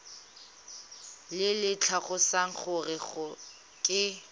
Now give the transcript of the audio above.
le le tlhalosang gore ke